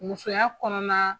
Musoya kɔnɔna